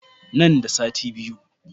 Nan da sati biyu.